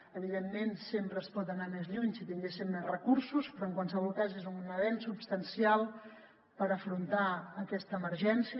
evidentment sempre es podria anar més lluny si tinguéssim més recursos però en qualsevol cas és un avenç substancial per afrontar aquesta emergència